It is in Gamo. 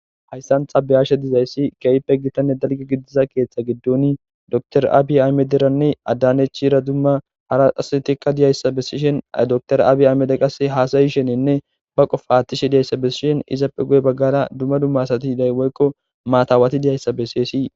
hayssan ta beyashe dizayssi keeyppe gitanne dalge gidiza keeththa giddoni door aabi aymederanni addanechira dumma hara astikka diyayssa bessishen door aabi aymede qas haasayi shenenne ba qofhaattishe diyayssa bessishen izappe guye baggara dumma dumma asati day woykko maatawati diyayssa besseyssi